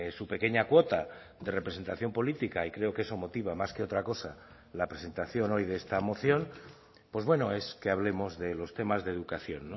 su pequeña cuota de representación política y creo que eso motiva más que otra cosa la presentación hoy de esta moción pues bueno es que hablemos de los temas de educación